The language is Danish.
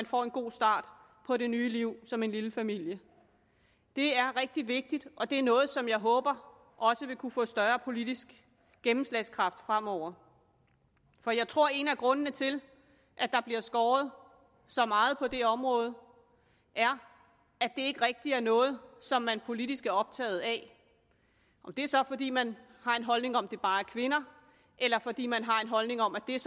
får en god start på det nye liv som en lille familie det er rigtig vigtigt og det er noget som jeg håber også vil kunne få større politisk gennemslagskraft fremover for jeg tror at en af grundene til at der bliver skåret så meget på det område er at det ikke rigtig er noget som man politisk er optaget af om det så er fordi man har en holdning om at det bare er kvinder eller fordi man har en holdning om at det er